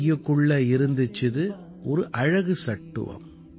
பையுக்குள்ள இருந்திச்சுது ஒரு அழகு சட்டுவம்